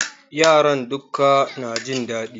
Yaran dukka na jin daɗi